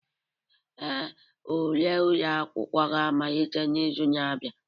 Ee, ule ụlọ akwụkwọ ga-amalite n'izu na-abịa.